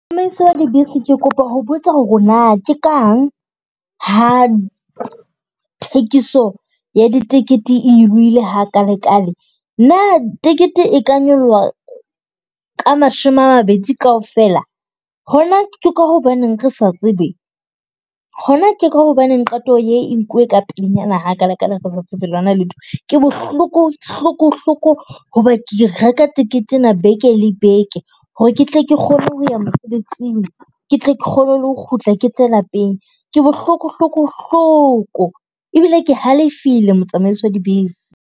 Tsamaiso ya dibese ke kopa ho botsa h ore na ke kang ha thekiso ya ditekete e nyolohile ha kale kale? Na tekete e ka nyoloha ka mashome a mabedi kaofela, hona ke ka hobaneng re sa tsebe? Hona ke ka hobaneng qeto ye e nkuwe ka pelenyana ha kale kale re sa tsebe lo na letho? Ke bohloko hloko hloko ho ba ke reka tekete ena beke le beke ho re ke tle ke kgone ho ya mosebetsing. Ke tle ke kgone le ho kgutla ke tle lapeng. Ke bohloko hloko-hloko, ebile ke halefile motsamaisi wa dibese.